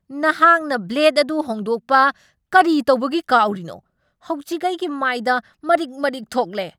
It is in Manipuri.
ꯅꯍꯥꯛꯅ ꯕ꯭ꯂꯦꯗ ꯑꯗꯨ ꯍꯣꯡꯗꯣꯛꯄ ꯀꯔꯤꯇꯧꯕꯒꯤ ꯀꯥꯎꯔꯤꯅꯣ? ꯍꯧꯖꯤꯛ ꯑꯩꯒꯤ ꯃꯥꯏꯗ ꯃꯔꯤꯛ ꯃꯔꯤꯛ ꯊꯣꯛꯂꯦ!